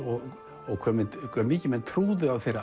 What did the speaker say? og hve hve mikið menn trúðu á